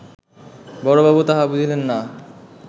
বড়বাবু তাহা বুঝিলেন না